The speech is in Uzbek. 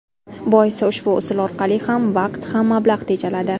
Boisi ushbu usul orqali ham vaqt, ham mablag‘ tejaladi.